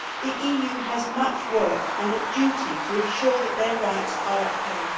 The EU has much work to do and a duty to ensure that their rights are upheld.